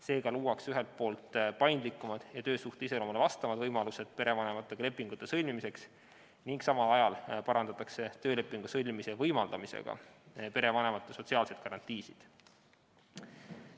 Seega luuakse ühelt poolt paindlikumad ja töösuhte iseloomule vastavad võimalused perevanematega lepingute sõlmimiseks ning samal ajal parandatakse töölepingu sõlmimise võimaldamisega perevanemate sotsiaalseid garantiisid.